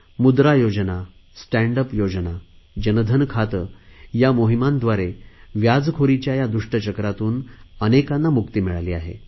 मुद्रा योजना stand up योजना जनधन खाते या मोहिमांद्वारे व्याजखोरीच्या या दुष्ट चक्रातून अनेकांना मुक्ती मिळाली आहे